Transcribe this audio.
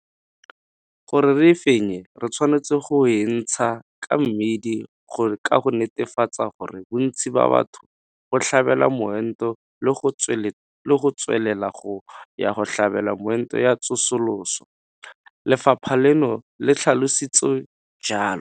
Gore re e fenye, re tshwanetse go e ntsha ka mmidi ka go netefatsa gore bontsi ba batho bo tlhabela moento le go tswelela go ya go tlhabela meento ya tsosoloso, lefapha leno le tlhalositse jalo.